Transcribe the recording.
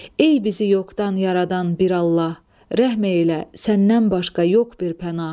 Ey bizi yoxdan yaradan bir Allah, rəhm eylə, səndən başqa yox bir pənah.